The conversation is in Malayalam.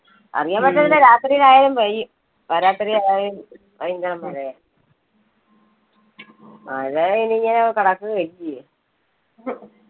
അറിയാൻ പറ്റത്തില്ല, രാത്രീല് ആയാലും പെയ്യും. പാതിരാത്രി ആയാലും മഴ ഇനി ഇങ്ങനെ കിടക്കുവല്ലേ.